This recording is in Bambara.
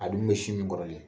A dun bɛ sin min kɔrɔlen